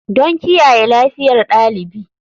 Don kiyaye lafiyar ɗalibi.